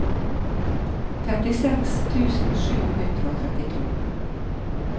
femtiseks tusen sju hundre og trettito